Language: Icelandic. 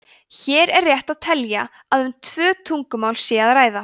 hér er rétt að telja að um tvö tungumál sé að ræða